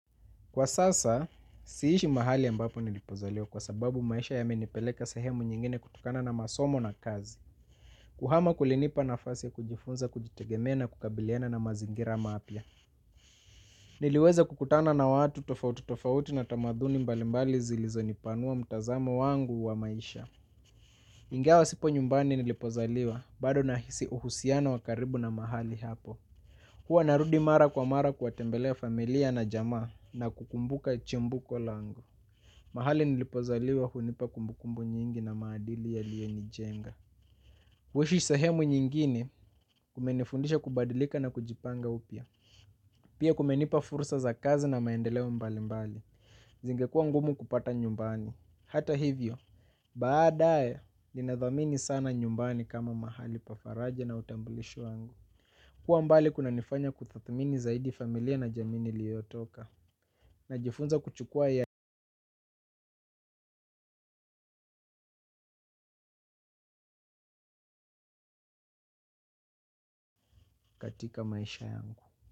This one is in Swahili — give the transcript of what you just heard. Kwa sasa, siishi mahali ambapo nilipozaliwa kwa sababu maisha yamenipeleka sahemu nyingine kutokana na masomo na kazi. Kuhama kulinipa nafasi ya kujifunza, kujitegemea na kukabiliana na mazingira mapya. Niliweza kukutana na watu tofauti tofauti na tamaduni mbalimbali zilizonipanua mtazamo wangu wa maisha. Ingawa sipo nyumbani nilipozaliwa bado nahisi uhusiano wa karibu na mahali hapo. Huwa narudi mara kwa mara kuwatembelewa familia na jamaa na kukumbuka chimbuko langu. Mahali nilipozaliwa hunipa kumbukumbu nyingi na maadili yaliyenijenga. Kuishi sehemu nyingine kumenifundisha kubadilika na kujipanga upya. Pia kumenipa fursa za kazi na maendeleo mbalimbali. Zingekua ngumu kupata nyumbani. Hato hivyo, baadae ninadhamini sana nyumbani kama mahali pa faraja na utambulisho wangu kuwa mbali kunanifanya kudhamini zaidi familia na jamii niliyotoka, najifunza kuchukua katika maisha yangu.